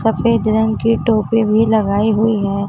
सफेद रंग के टोपी भी लगाई हुई है।